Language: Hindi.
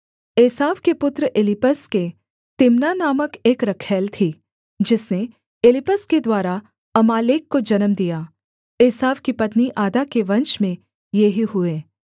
एसाव के पुत्र एलीपज के तिम्ना नामक एक रखैल थी जिसने एलीपज के द्वारा अमालेक को जन्म दिया एसाव की पत्नी आदा के वंश में ये ही हुए